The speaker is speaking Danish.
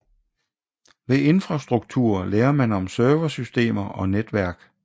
Ved infrastruktur lærer man om serversystemer og netværk